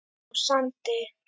á Sandi.